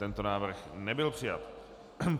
Tento návrh nebyl přijat.